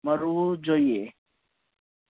મરવું જોઈએ